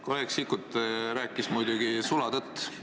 Kolleeg Sikkut rääkis muidugi sulatõtt.